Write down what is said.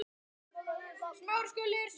Svona var þetta öll jól.